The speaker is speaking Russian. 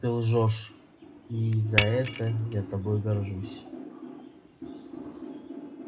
ты лжёшь и за это я тобой горжусь